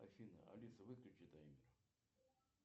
афина алиса выключи таймер